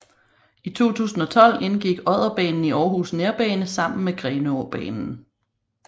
I 2012 indgik Odderbanen i Aarhus Nærbane sammen med Grenaabanen